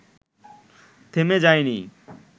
থেমে যায়নি